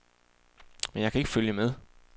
Men jeg kan ikke følge med.